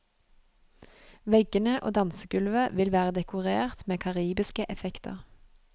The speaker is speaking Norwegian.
Veggene og dansegulvet vil være dekorert med karibiske effekter.